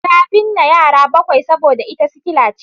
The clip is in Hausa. Ta binne yara bakwai saboda ita sikkila ce